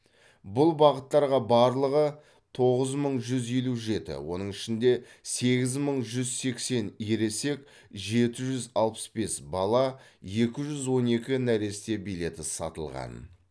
бұл бағыттарға барлығы тоғыз мың жүз елу жеті оның ішінде сегіз мың жүз сексен ересек жеті жүз алпыс бес бала екі жүз он екі нәресте билеті сатылған